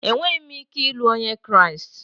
Enweghị m ike ịlụ Onye Kraịst